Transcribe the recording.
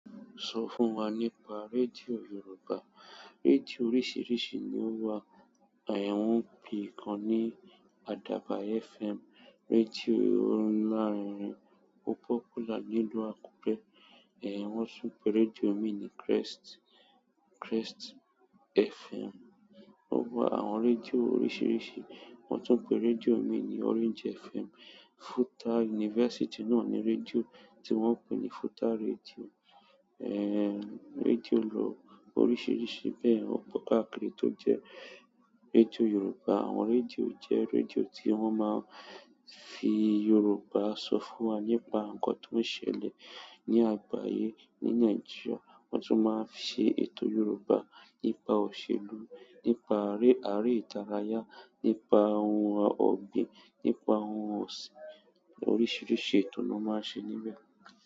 Sọ fún wa nípa rédíò Yoruba. Rédíò oríṣìíríṣìí ni ó wà. Wọ́n pè ikan ní Adaba FM. Rédíò on larin rin o popular nílú Àkúré. Wọ́n tún pe rédíò mi ní Crest FM. Ó wa àwọn rédíò oríṣìíríṣìí. Wọ́n tún pe rédíò mi ní Orange FM. FUTA University náà ní rédíò tí wọ́n pe ní FUTA rédíò. Rédíò lọ oríṣìíríṣìí bẹ́ẹ̀. Ó pọ̀ káàkiri tó jẹ́ rédíò Yoruba. Àwọn rédíò jẹ́ rédíò tí wọ́n máa ń fi Yoruba sọ fún wa nípa nǹkan tó ń ṣẹlẹ̀ ní àgbáyé, ní Nàìjíríà. Won tun maa n se ètò Yoruba nípa òṣèlú, nípa are ìdárayá nípa oun ogbin, nípa oun ọ̀sìn, oríṣiríṣi ètò ni won maa n se níbẹ̀.